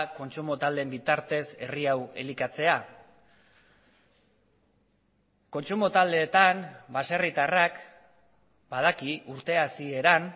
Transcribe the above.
kontsumo taldeen bitartez herri hau elikatzea kontsumo taldeetan baserritarrak badaki urte hasieran